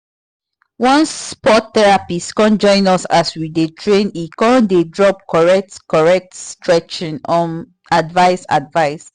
one sport therapist come join us as we dey train e come dey drop correct correct stretching um advice advice